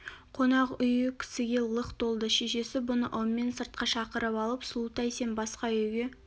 қонақ үйі кісіге лық толды шешесі бұны ыммен сыртқа шақырып алып сұлутай сен басқа үйге